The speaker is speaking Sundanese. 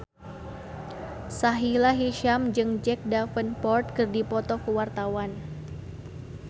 Sahila Hisyam jeung Jack Davenport keur dipoto ku wartawan